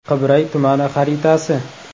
Qibray tumani xaritasi.